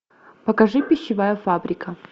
покажи пищевая фабрика